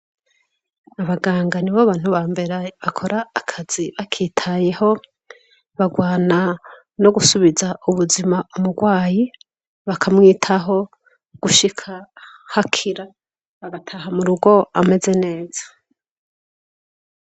Abagangani bo bantu ba mbere bakora akazi bakitayeho barwana no gusubiza ubuzima umurwayi bakamwitaho gushika hakira bagataha mu rugo ameze neza.